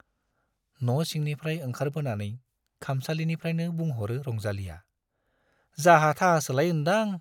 न' सिंनिफ्राइ ओंखारबोनानै खामसालिनिफ्राइनो बुंह'रो रंजालीया, जाहा-थाहासोलाय ओन्दां ?